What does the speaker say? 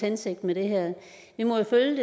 hensigt med det her vi må jo følge